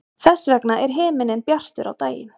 þess vegna er himinninn bjartur á daginn